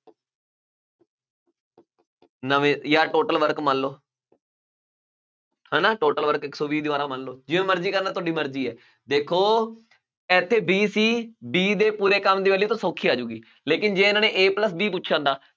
ਨਵੇਂ ਜਾਂ total work ਮੰਨ ਲਓ ਹਨਾ total work ਇੱਕ ਸੌ ਵੀਹ ਦੀਵਾਰਾਂ ਮੰਨ ਲਓ ਜਿਵੇਂ ਮਰਜ਼ੀ ਕਰਨਾ ਤੁਹਾਡੀ ਮਰਜ਼ੀ ਹੈ ਦੇਖੋ ਇੱਥੇ b ਸੀ b ਦੇ ਪੂਰੇ ਕੰਮ ਦੀ value ਤਾਂ ਸੌਖੀ ਆ ਜਾਊਗੀ ਲੇਕਿੰਨ ਜੇ ਇਹਨਾਂ ਨੇ a plus b ਪੁੱਛਿਆ ਹੁੰਦਾ